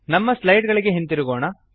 ನಮ್ಮ ಸ್ಲೈಡ್ ಗಳಿಗೆ ಹಿಂದಿರುಗೋಣ